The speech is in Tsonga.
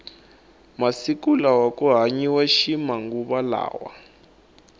masiku lawa ku hanyiwa ximanguva lawa